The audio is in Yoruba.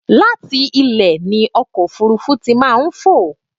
Láti ilẹ̀ ni ọkọ̀ ofúrúfú tí màá ń fò.